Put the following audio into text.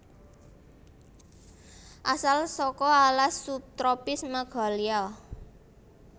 Asal saka alas subtropis Meghalya